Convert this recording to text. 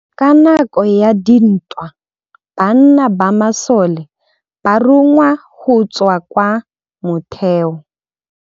Ka nakô ya dintwa banna ba masole ba rongwa go tswa kwa mothêô.